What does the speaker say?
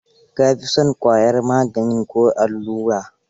Ka fi son ƙwayar magaani ko allura?